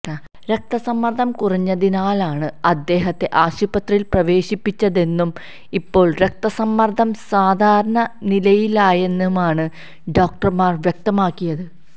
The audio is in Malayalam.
രക്ത സമ്മര്ദ്ദം കുറഞ്ഞതിനാലാണ് അദ്ദേഹത്തെ ആശുപത്രിയിൽ പ്രവേശിപ്പിച്ചതെന്നും ഇപ്പോൾ രക്തസമ്മർദം സാധാരണ നിലയിലായെന്നുമാണ് ഡോക്ടർമാർ വ്യക്തമാക്കിയത്